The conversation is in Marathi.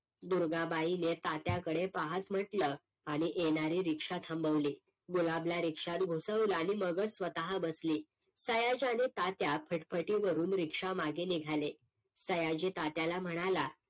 दुर्गाबाई ने तात्याकडे पाहत म्हंटल आणि येणारी रिक्षा थांबवली, गुलाब ला रिक्षात घुसवलं आणि मगच स्वतः बसली. सयाजी आणि तात्या फटफटीवरून रिक्षा मागे निघाले. सयाजी तात्याला म्हणाला